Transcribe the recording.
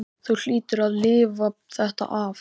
Þú hlýtur að lifa þetta af.